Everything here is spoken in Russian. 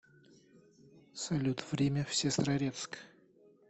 салют время в сестрорецк